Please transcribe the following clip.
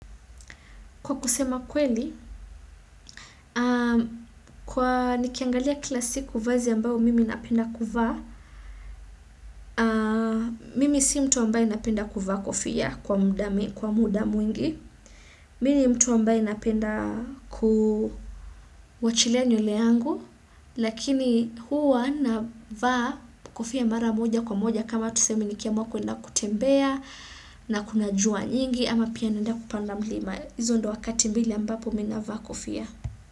Kwa kusema kweli, kwa nikiangalia Kila siku vazi ambayo mimi napenda kuvaa, mimi si mtu ambaye napenda kuvaa kofia kwa muda mwingi, mimi ni mtu ambaye napenda ku wachilia nywele yangu, lakini huwa navaa kofia mara moja kwa moja kama tuseme nikiamka kuenda kutembea na kuna jua nyingi ama pia naenda kupanda mlima, izo ndo wakati mbili ambapo mi navaa kofia.